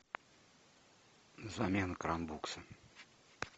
замена кран букса